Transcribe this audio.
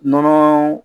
Nɔnɔ